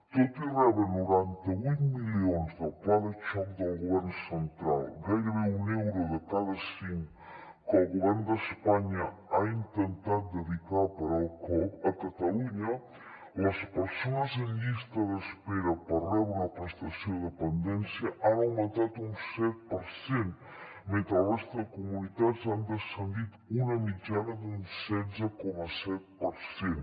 tot i rebre noranta vuit milions del pla de xoc del govern central gairebé un euro de cada cinc que el govern d’espanya ha intentat dedicar a parar el cop a catalunya les persones en llista d’espera per rebre una prestació de dependència han augmentat un set per cent mentre a la resta de comunitats han descendit una mitjana d’un setze coma set per cent